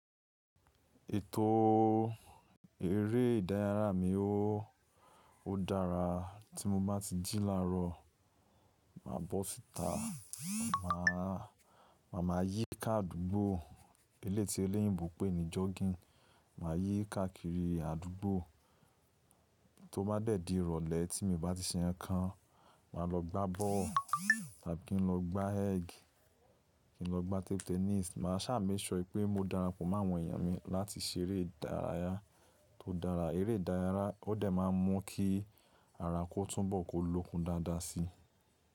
Ètò eré ìdárayá mi ò o dára. Tí mo bá ti jí láàárọ̀, màá bọ́ síta, màá máa maa yí i ká àdúgbò eléyi ti oloyinbo pé ni jogging. Màá yí i ká kiri àdúgbò. Tó bá dẹ̀ di ìrọ̀lẹ́ tí mi n bá ti ṣe nǹkankan, màá lọ gbá bọ́ọ̀lù tàbí kí n lọ gbá ẹ́gì kí n lọ gbá table ténís. Màá sá make sure pẹ́ mo darapọ̀ mọ́ àwọn èèyàn mi láti ṣeré ìdárayá tó dára. Eré ìdárayá ó dẹ̀ máa ń mú kí ara kó túnbọ̀ kó lókun dáadáa si.